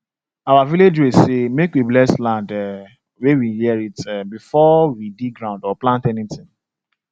our village way say make we bless land um wey we inherit um before we dig ground or plant anything